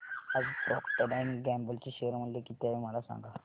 आज Procter and Gamble चे share मूल्य किती आहे मला सांगा